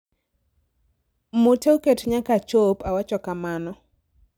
mute oket nyaka achop awacho kamano